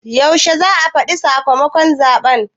Yaushe za a faɗi sakamakon zaɓe?